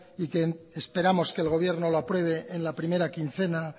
y que esperamos que el gobierno lo apruebe en la primera quincena